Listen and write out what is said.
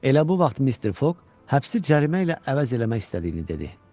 Elə bu vaxt Mister Foq həbsi cərimə ilə əvəz etmək istədiyini dedi.